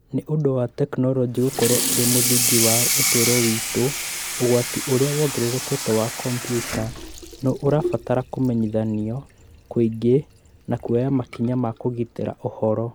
Nĩ ũndũ wa tekinoronjĩ gũkorũo ĩrĩ mũthingi wa ũtũũro witũ, ũgwati ũrĩa wongererekete wa kompiuta nĩ ũrabatara kũmenyithanio kũingĩ na kuoya makinya ma kũgitĩra ũhoro.